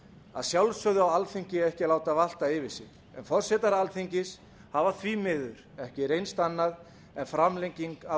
að sjálfsögðu á alþingi ekki að láta valta yfir sig en forsetar alþingis hafa því miður ekki reynst annað en framlenging af